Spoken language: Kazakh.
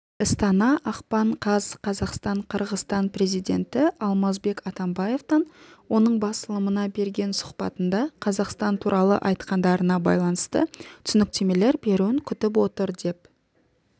істана ақпан қаз қазақстан қырғызстан президенті алмазбек атамбаевтан оның басылымына берген сұхбатында қазақстан туралы айтқандарына байланысты түсініктемелер беруін күтіп отыр деп